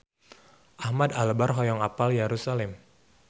Ahmad Albar hoyong apal Yerusalam